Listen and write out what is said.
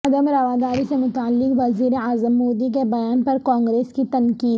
عدم رواداری سے متعلق وزیراعظم مودی کے بیان پر کانگریس کی تنقید